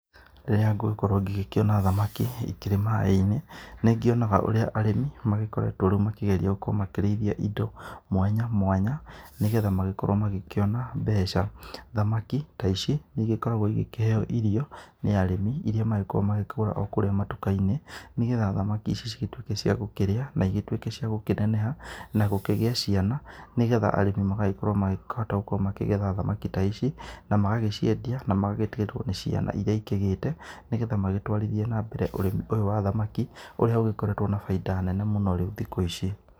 Rĩrĩa ngũgĩkorwo ngĩkĩona thamaki ikĩrĩ maaĩ-inĩ nĩ ngĩonaga ũrĩa arĩmi magĩkoretwo rĩu makĩgeria gũkorwo makĩrĩithia indo mwanya mwanya, nĩgetha magĩkorwo magĩkĩona mbeca. Thamaki ta ici nĩ igĩkoragwo igĩkĩheo irio nĩ arimi irĩa magĩkoragwo makĩgũra kũrĩa matuka-inĩ, nĩgetha thamaki ici cigĩtuĩke ciagũkĩrĩa na igĩtuĩke ciagũkĩneneha. Na gũkĩgĩa ciana nĩgetha arĩmi makĩhote gũkorwo magĩkĩgetha thamaki ta ici na magagĩcienda na magagĩtigwo na ciana iria ikĩgĩte, nĩgetha magĩtwarithie na mbere ũrĩmi ũyũ wa thamaki ũrĩa ũgĩkoretwo na bainda nene mũno rĩu thikũ ici.